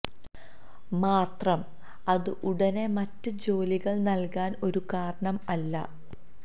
മാത്രം അത് ഉടനെ മറ്റ് ജോലികൾ നൽകാൻ ഒരു കാരണം അല്ല